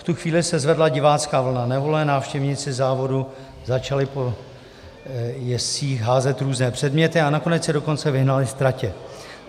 V tu chvíli se zvedla divácká vlna nevole, návštěvníci závodu začali po jezdcích házet různé předměty a nakonec je dokonce vyhnali z tratě.